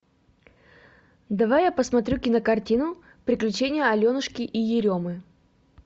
давай я посмотрю кинокартину приключения аленушки и еремы